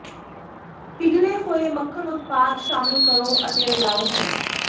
ਪਿਘਲੇ ਹੋਏ ਮੱਖਣ ਉਤਪਾਦ ਸ਼ਾਮਿਲ ਕਰੋ ਅਤੇ ਰਲਾਉ ਹੈ